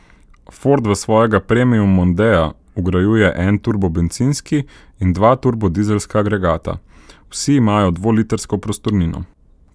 Ford v svojega premium mondea vgrajuje en turbobencinski in dva turbodizelska agregata, vsi imajo dvolitrsko prostornino.